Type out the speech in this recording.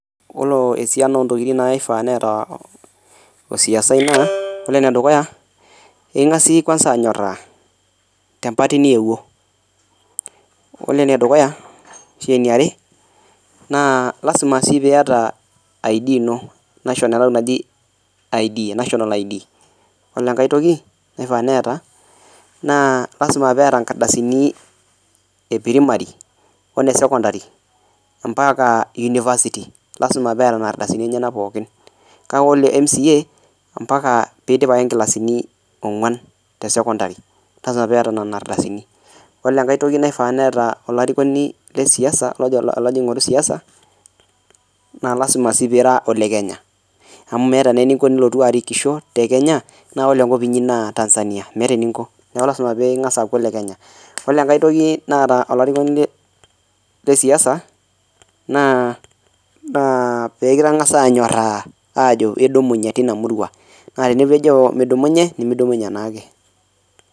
Ore osian ontokitin naifaa neeta osiasai naa ore nedukuya, ingas iye kwansa anyorraa te empati niewuo. Ore enedukuya ashu eneare naa lasima sii pieta ID ino ashu enatoki naji national ID. Ore enkae toki neifaa neeta naa lasima peeta enkardasini epirimari oo ne sokondari ompaka unifasiti, lasima peeta nena ardasini enyena pookin. Kake ore MCA ompaka peidip ake nkilasini ongwan te sokondari, lasima peeta nena ardasini. Ore enkae toki neifaa peeta olarikoni le siasa ale ojo alo ajing esiasa, naa lasima sii piira olekenya amu meeta naa ninko piilotu arikisjo te Kenya naa ore enkop inyii naa Tanzania, meeta eninko naa lasima piingas aaku le Kenya. Ore enkae toki naa olarikoni le siasa naa peekintangasi anyoraa aajo idumunye teina murua, naa tenejo midumunye nimidumunye naake.